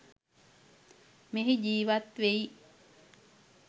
මෙහි ජීවත් වෙයි.